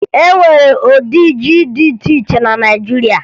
E nwere ụdị ji di iche iche na Naịjiria